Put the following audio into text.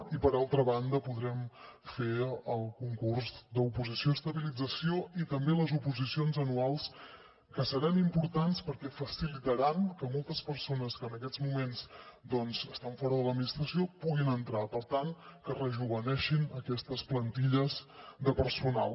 i per altra banda podrem fer el concurs oposició d’estabilització i també les oposicions anuals que seran importants perquè facilitaran que moltes persones que en aquests moments doncs estan fora de l’administració puguin entrar hi per tant que es rejoveneixin aquestes plantilles de personal